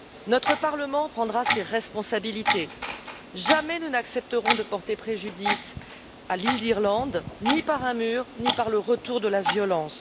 Notre Parlement prendra ses responsabilités. Jamais nous n'accepterons de porter préjudice à l'île d'Irlande, ni par un mur, ni par le retour de la violence.